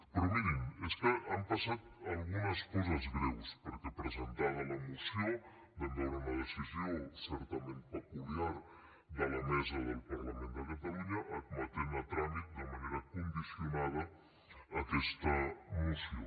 però mirin és que han passat algunes coses greus perquè presentada la moció vam veure una decisió certament peculiar de la mesa del parlament de catalunya en admetre a tràmit de manera condicionada aquesta moció